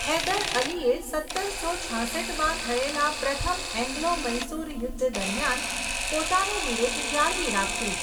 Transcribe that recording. હૈદર અલીએ સત્તરસો છાસઠમાં થયેલા પ્રથમ એંગ્લો મૈસૂર યુદ્ધ દરમિયાન પોતાનું બિરુદ જાળવી રાખ્યું.